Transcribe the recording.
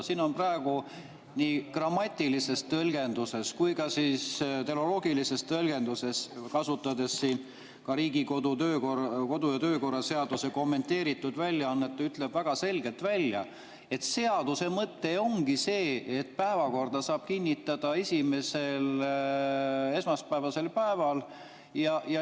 Siin on praegu nii grammatilise tõlgenduse kui ka tehnoloogilise tõlgenduse järgi niimoodi, kui kasutada ka Riigikogu kodu‑ ja töökorra seaduse kommenteeritud väljaannet, mis ütleb väga selgelt, et seaduse mõte ongi see, et päevakorda saab kinnitada esimesel päeval, esmaspäevasel päeval.